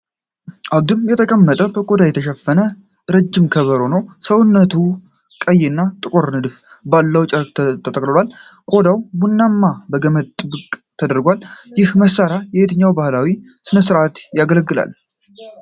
አግድም የተቀመጠ፣ በቆዳ የተሸፈነና ረጅም ከበሮ ነው። ሰውነቱ ቀይና ጥቁር ንድፍ ባለው ጨርቅ ተጠቅልሏል። ቆዳው ቡናማና በገመድ ጥብቅ ተደርጓል። ይህ መሳሪያ በየትኞቹ ባህላዊ ሥነሥርዓቶች ያገለግላል?